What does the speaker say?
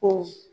Ko